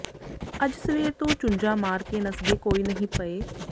ਅੱਜ ਸਵੇਰ ਤੋਂ ਚੁੰਝਾਂ ਮਾਰ ਕੇ ਨੱਸਦੇ ਕੋਈ ਨਹੀਂ ਪਏ